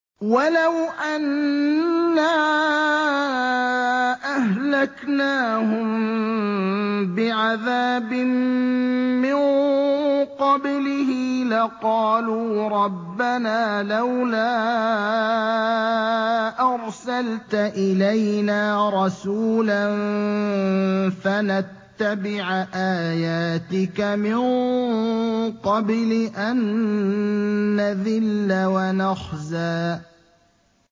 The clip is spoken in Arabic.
وَلَوْ أَنَّا أَهْلَكْنَاهُم بِعَذَابٍ مِّن قَبْلِهِ لَقَالُوا رَبَّنَا لَوْلَا أَرْسَلْتَ إِلَيْنَا رَسُولًا فَنَتَّبِعَ آيَاتِكَ مِن قَبْلِ أَن نَّذِلَّ وَنَخْزَىٰ